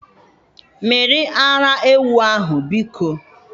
Mmiri ara ewu ahu, biko!